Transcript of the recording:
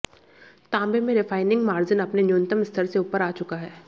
तांबे में refining margin अपने न्यूनतम स्तर से ऊपर आ चुका है